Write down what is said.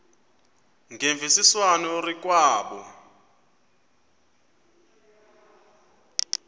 ngemvisiswano r kwabo